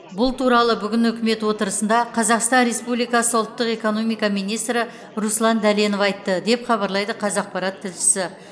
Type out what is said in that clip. бұл туралы бүгін үкімет отырысында қазақстан республикасы ұлттық экономика министрі руслан дәленов айтты деп хабарлайды қазақпарат тілшісі